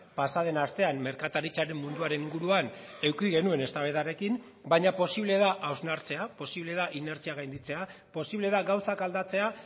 pasa den astean merkataritzaren munduaren inguruan eduki genuen eztabaidarekin baina posible da hausnartzea posible da inertzia gainditzea posible da gauzak aldatzea